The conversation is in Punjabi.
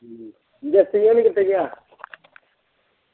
ਹਮ ਜੱਸੀ ਹੁਣ ਕਿੱਥੇ ਗਿਆ।